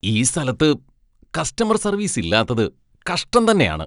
ഈ സ്ഥലത്ത് customer service ഇല്ലാത്തത് കഷ്ടം തന്നെയാണ് .